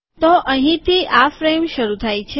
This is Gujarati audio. તો અહીંથી આ ફ્રેમ શરૂ થાય છે